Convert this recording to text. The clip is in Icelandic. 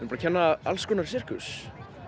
að kenna alls konar sirkus